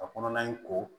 A kɔnɔna in ko